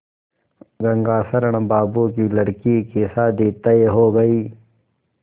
गंगाशरण बाबू की लड़की की शादी तय हो गई